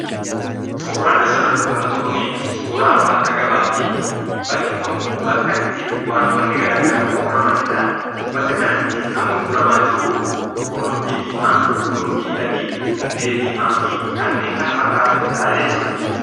Suuraan asirratti mul'atu kuni, suuraa bakka gabaati. bakki kun, bakka itti wantoonni garaagaraa itti gurguramanidha. bakka kanatti kan gurgurama jiru, qullubbii diima, qullubbii adii, hundee diimaa fi kanneen kana fakkatanidha jechuudha.